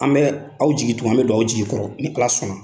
An bɛ aw jigi tugu an bɛ don aw jigi kɔrɔ ni ALA sɔnna.